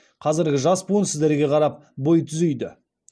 қазіргі жас буын сіздерге қарап бой түзейді